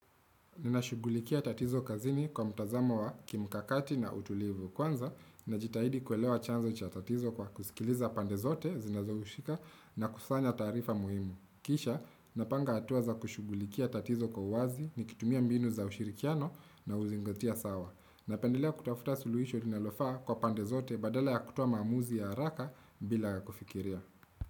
Ninashugulikia tatizo kazini kwa mtazamo wa kimkakati na utulivu kwanza najitahidi kuelewa chanzo cha tatizo kwa kusikiliza pandezote zinazoushika na kusanya tarifa muhimu. Kisha napanga hatua za kushugulikia tatizo kwa wazi nikitumia mbinu za ushirikiano na uzingatia sawa. Napendelea kutafuta suluhisho linalofa kwa pande zote badala ya kutoa maamuzi ya haraka bila kufikiria.